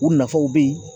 U nafaw bɛ ye